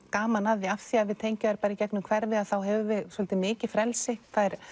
gaman af því af því við tengjum þær bara í gegnum hverfið að þá höfum við svolítið mikið frelsi